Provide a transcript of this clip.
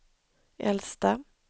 äldsta